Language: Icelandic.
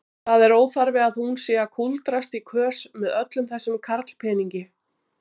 Það er óþarfi hún sé að kúldrast í kös með öllum þessum karlpeningi.